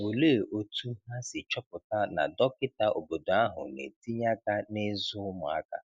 Olee otú ha si chọpụta na dọkịta obodo ahụ na-etinye aka n'ịzụ ụmụaka?